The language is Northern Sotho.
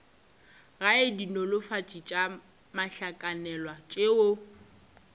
gae dinolofatši tša mohlakanelwa tšeo